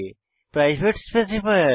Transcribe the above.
private specifier